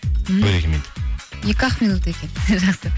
м бір екі минут екі ақ минут екен жақсы